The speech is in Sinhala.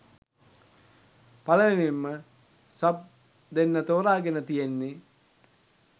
පළවෙනියෙන්ම සබ් දෙන්න තෝරගෙන තියෙන්නේ